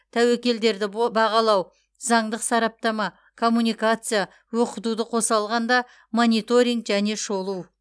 тәуекелдерді бо бағалау заңдық сараптама коммуникация оқытуды қоса алғанда мониторинг және шолу